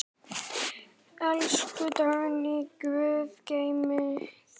Elsku Dagný, Guð geymi þig.